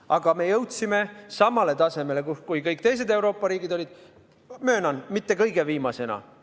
Aga me jõudsime samale tasemele, kus kõik teised Euroopa riigid olid, möönan, mitte kõige viimasena.